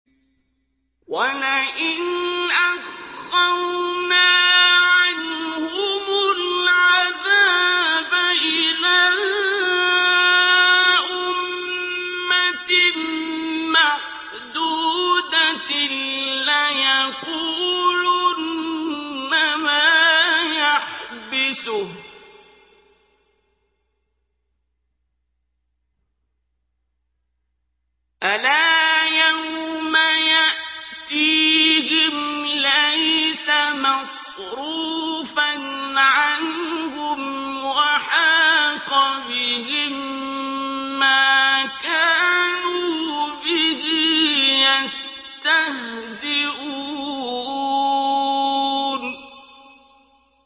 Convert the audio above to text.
وَلَئِنْ أَخَّرْنَا عَنْهُمُ الْعَذَابَ إِلَىٰ أُمَّةٍ مَّعْدُودَةٍ لَّيَقُولُنَّ مَا يَحْبِسُهُ ۗ أَلَا يَوْمَ يَأْتِيهِمْ لَيْسَ مَصْرُوفًا عَنْهُمْ وَحَاقَ بِهِم مَّا كَانُوا بِهِ يَسْتَهْزِئُونَ